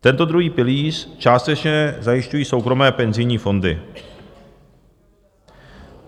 Tento druhý pilíř částečně zajišťují soukromé penzijní fondy.